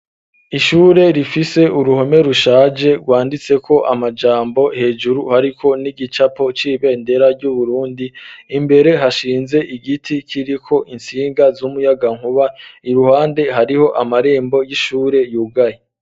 Ishure rifise uruhome rushaje rwanditseko amajambo hejuru hariko n'igicapo c'ibendera ryu Burundi imbere hashinze igiti kiriko intsinga z'umuyagankuba iruhande hariho amarembo y'ishure yugaye